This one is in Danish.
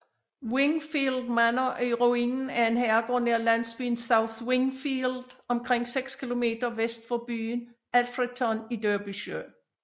Wingfield Manor er ruinen af en herregård nær landsbyen South Wingfield omkring 6 km vest for byen Alfreton i Derbyshire